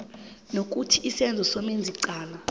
nokuthi isenzo somenzicala